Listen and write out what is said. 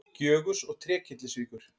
Gjögurs og Trékyllisvíkur.